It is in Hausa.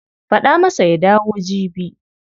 Faɗa masa ya dawo jibi.